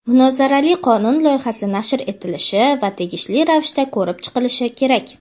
Munozarali qonun loyihasi nashr etilishi va tegishli ravishda ko‘rib chiqilishi kerak.